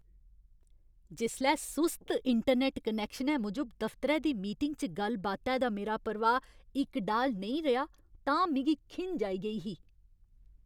जिसलै सुस्त इंटरनैट्ट कनैक्शनै मूजब दफतरै दी मीटिंगा च गल्ल बातै दा मेरा प्रवाह् इकडाल नेईं रेहा तां मिगी खिंझ आई गेई ही।